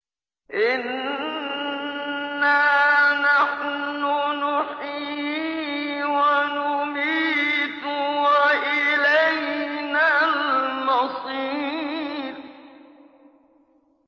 إِنَّا نَحْنُ نُحْيِي وَنُمِيتُ وَإِلَيْنَا الْمَصِيرُ